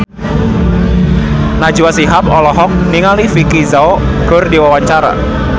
Najwa Shihab olohok ningali Vicki Zao keur diwawancara